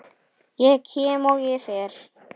Ég kem, og ég fer.